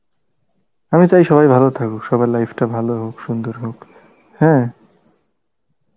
আমি চাই সবাই ভালো থাকুক, সবার life টা ভালো হোক সুন্দর হোক, হ্যাঁ